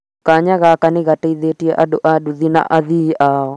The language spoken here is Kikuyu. kanya gaka nĩgateithĩtie andu a nduthi na athii aao